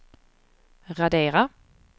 radera